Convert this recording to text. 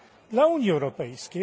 dla Unii Europejskiej.